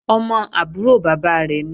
Ọmọ àbúrò bàbá rẹ̀ nìí